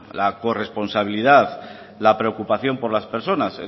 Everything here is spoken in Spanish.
la corresponsabilidad la preocupación por las personas